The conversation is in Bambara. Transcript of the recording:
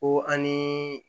Ko an ni